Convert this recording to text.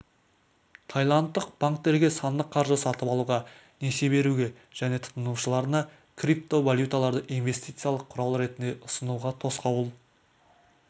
таиландтық банктерге сандық қаржы сатып алуға несие беруге және тұтынушыларына криптовалюталарды инвестициялық құрал ретінде ұсынуға тосқауыл